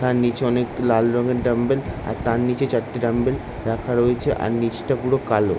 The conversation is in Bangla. তার নিচে অনেক লাল রঙের ড্রামবেল আর তার নিচে চারটি ড্রামবেলাল রাখা রয়েছে আর নিচটা পুরো কালো ।